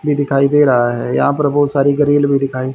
ये दिखाई दे रहा है यहां पर बहुत सारी ग्रील भी दिखाई--